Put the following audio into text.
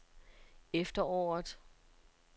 efteråret